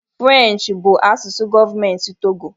Firenchi bụ asụsụ gọọmentị Togo